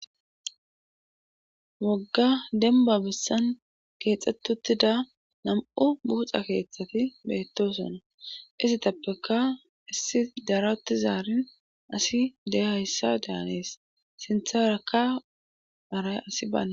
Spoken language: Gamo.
wogga denba bissan keexxettuttida nam7u buuxa keeththati beettosona isitappeka issi darati zaarin asi de hayssa daanees sintharakka aray asi bana